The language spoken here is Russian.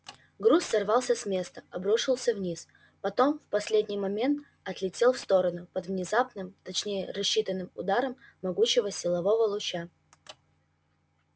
груз сорвался с места обрушился вниз потом в последний момент отлетел в сторону под внезапным точнее рассчитанным ударом могучего силового луча